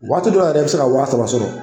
Waati dɔ la yɛrɛ i bɛ se ka wa saba sɔrɔ.